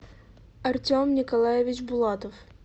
артем николаевич булатов